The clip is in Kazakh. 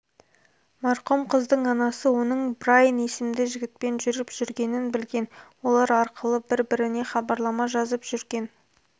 марқұм қыздың анасы оның брайн есімді жігітпен жүріп жүргенін білген олар арқылы бір-біріне хабарлама жазып жүрген